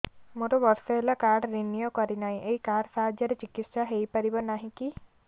ମୋର ବର୍ଷେ ହେଲା କାର୍ଡ ରିନିଓ କରିନାହିଁ ଏହି କାର୍ଡ ସାହାଯ୍ୟରେ ଚିକିସୟା ହୈ ପାରିବନାହିଁ କି